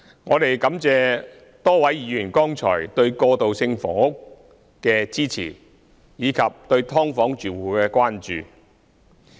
我們感謝多位議員剛才對過渡性房屋的支持，以及對"劏房"住戶的關注。